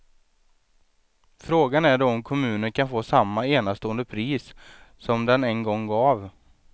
Frågan är då om kommunen kan få samma enastående pris som den en gång gav.